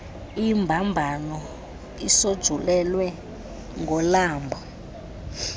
imbambano isonjululwe ngolamlo